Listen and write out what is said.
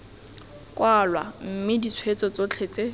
kwalwa mme ditshweetso tsotlhe tse